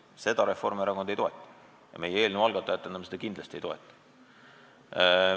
Seda meie eelnõu algatajatena ja kogu Reformierakond kindlasti ei toeta.